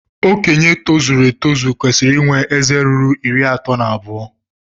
Okenye tozuru etozu kwesiri inwe ézé ruru iri ato na abuo